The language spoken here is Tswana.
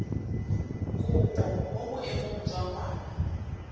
kopo mo boemong jwa ngwana